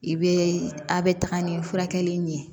I bɛ a' bɛ taga ni furakɛli ye